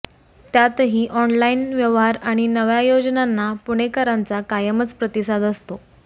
त्यातही ऑनलाइन व्यवहार आणि नव्या योजनांना पुणेकरांचा कायमच प्रतिसाद असतो